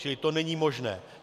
Čili to není možné.